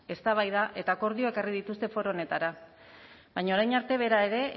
eztabaida eta akordioa ekarri dituzte foro honetara baina orain arte bera ere